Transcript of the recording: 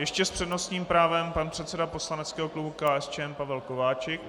Ještě s přednostním právem pan předseda poslaneckého klubu KSČM Pavel Kováčik.